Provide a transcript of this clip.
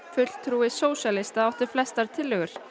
fulltrúi sósíalista átti flestar tillögur